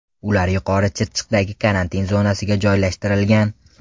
Ular Yuqori Chirchiqdagi karantin zonasiga joylashtirilgan.